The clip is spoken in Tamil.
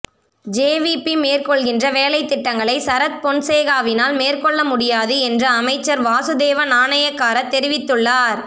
ஜே வி பி மேற்கொள்கின்ற வேலைத்திட்டங்களை சரத் பொன்சேகாவினால் மேற்கொள்ளமுடியாது என்று அமைச்சர் வாசுதேவ நாணயக்கார தெரிவித்துள்ளார்